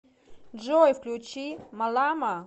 джой включи малама